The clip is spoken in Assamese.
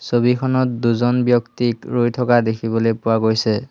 ছবিখনত দুজন ব্যক্তিক ৰৈ থকা দেখিবলৈ পোৱা গৈছে।